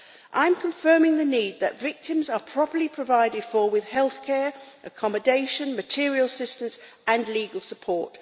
I'm confirming the need that victims are properly provided for, with healthcare, accommodation, material assistance and legal support.